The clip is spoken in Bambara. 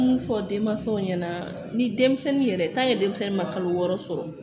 Mun fɔ denmansaw ɲɛna ni denmisɛnnin yɛrɛ denmisɛnnin ma kalo wɔɔrɔ sɔrɔ